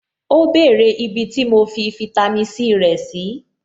Ó bèrè ibi tí mo fi fitami C rẹ̀ sí.